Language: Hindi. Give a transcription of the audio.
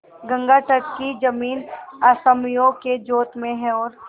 गंगातट की जमीन असामियों के जोत में है और